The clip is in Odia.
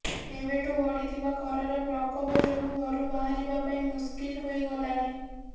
ଏବେଠୁ ବଢିଥିବା ଖରାର ପ୍ରକୋପରେ ଯୋଗଁ ଘରୁ ବାହାରିବା ପାଇଁ ମୁସ୍କିଲ ହୋଇଗଲାଣି